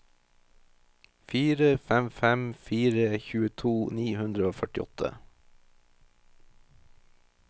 fire fem fem fire tjueto ni hundre og førtiåtte